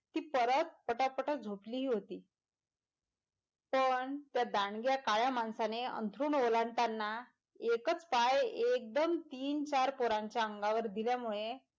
ती पोर पटापटा झोपली हि होती पण त्या दांडग्या काळ्या माणसाने अंथरूण ओलांडताना एकच पाय एगदम तीन चार पोरांच्या अंगावर दिल्यामुळे,